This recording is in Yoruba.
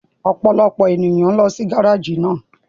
Ọpọlọpọ eniyan n lọ si gáraáji náà